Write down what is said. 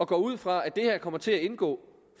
går ud fra at det her kommer til at indgå